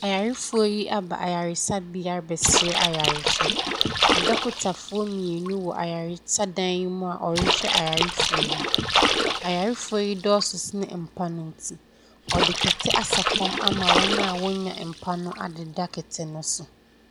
Ayarefoɔ yi aba ayaresabea bɛsrɛ ayarehwɛ. Adɔkotafoɔ mienu wɔ ayaresa dan yi mu. Ayarefoɔ yi dɔɔso sene mpa no nti, ɔde kɛtɛ asɛ fɔm ama wɔn a ɔnya mpa no adeda kɛtɛ no so.